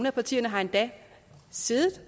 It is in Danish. af partierne har endda siddet